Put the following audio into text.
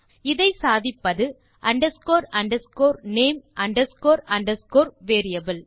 இதை சாதிப்பது underscore underscore name underscore underscore variable